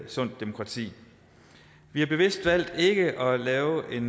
sundt demokrati vi har bevidst valgt ikke at lave et